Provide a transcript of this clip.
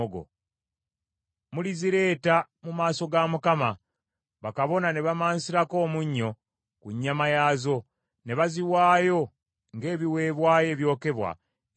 Mulizireeta mu maaso ga Mukama , bakabona ne bamansira omunnyo ku nnyama yaazo, ne baziwaayo ng’ebiweebwayo ebyokebwa eri Mukama .